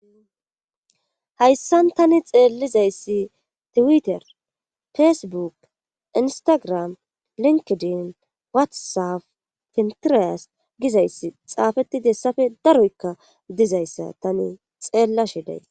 hayssan tani xeellizayssi tiwiter fesebuk instagram linkedin watsaf pintiriyas gizayssi xaafeti dessafe daroykka dizayssa tani xeella shiday